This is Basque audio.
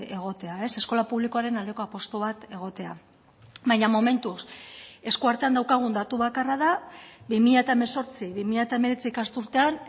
egotea eskola publikoaren aldeko apustu bat egotea baina momentuz eskuartean daukagun datu bakarra da bi mila hemezortzi bi mila hemeretzi ikasturtean